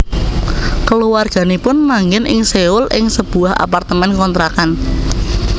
Keluarganipun manggen ing Seoul ing sebuah apartemen kontrakan